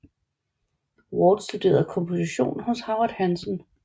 Ward studerede komposition hos Howard Hanson